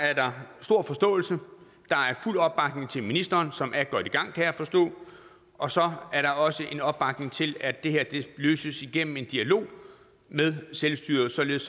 er der stor forståelse der er fuld opbakning til ministeren som er godt i gang kan jeg forstå og så er der også en opbakning til at det her løses igennem en dialog med selvstyret således